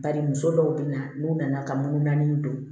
Bari muso dɔw be na n'u nana ka mun naani don